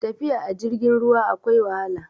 tafiya a jirgin ruwa akwai wahala